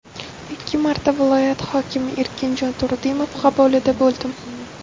Ikki marta viloyat hokimi Erkinjon Turdimov qabulida bo‘ldim.